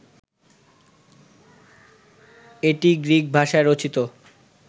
এটি গ্রিক ভাষায় রচিত